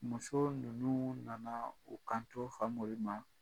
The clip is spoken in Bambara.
Muso ninnu nana u kanto Famori ma